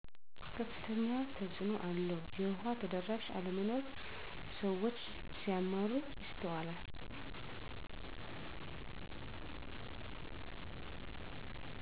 ከፍተኛ ተፅእኖ አለው የዉሃ ተደራሽ አለመኖር ስዎች ሲያማረሩ ይስተዋላል